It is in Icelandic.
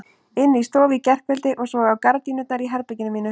Inni í stofu í gærkveldi og svo á gardínurnar í herberginu mínu.